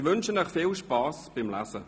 Ich wünsche Ihnen viel Spass beim Lesen.